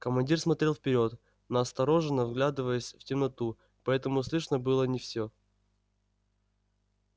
командир смотрел вперёд настороженно вглядываясь в темноту поэтому слышно было не все